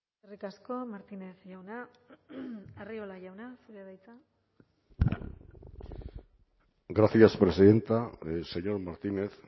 eskerrik asko martínez jauna arriola jauna zurea da hitza gracias presidenta señor martínez